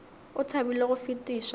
o thabile go fetiša go